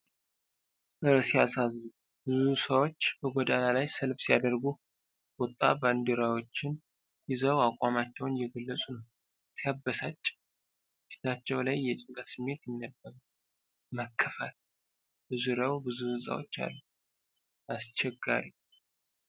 እር ሲያሳዝን! ብዙ ሰዎች በጎዳና ላይ ሰልፍ ሲያደርጉ። ቁጣ! ባንዲራዎችን ይዘው አቋማቸውን እየገለጹ ነው። ሲያበሳጭ! ፊታቸው ላይ የጭንቀት ስሜት ይነበባል። መከፋት! በዙሪያው ብዙ ሕንፃዎች አሉ። አስቸጋሪ።